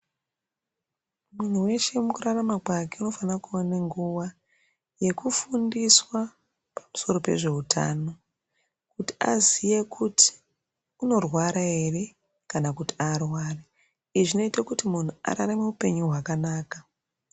Muntu weshe mukurarama kwake unofana kuona nguwa yekufundiswa pamusoro pezveutano kuti aziye kuti unorwara ere kana kuti arwari izvi zvinoita kuti muntu ararame upenyu hwakanaka.